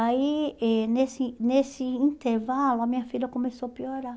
Aí, eh nesse nesse intervalo, a minha filha começou a piorar.